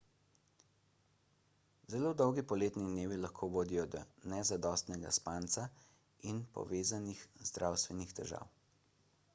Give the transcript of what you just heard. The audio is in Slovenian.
zelo dolgi poletni dnevi lahko vodijo do nezadostnega spanca in povezanih zdravstvenih težav